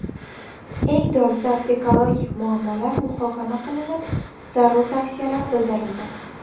Eng dolzarb ekologik muammolar muhokama qilinib, zarur tavsiyalar bildirildi.